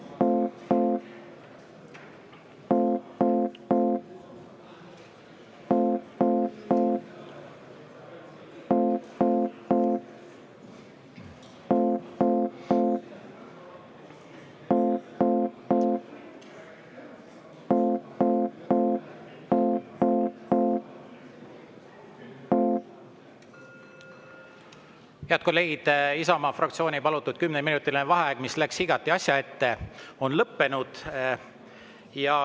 Head kolleegid, Isamaa fraktsiooni palutud kümneminutiline vaheaeg, mis läks igati asja ette, on lõppenud.